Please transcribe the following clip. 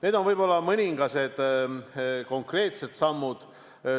Need on võib-olla mõned konkreetsed sammud.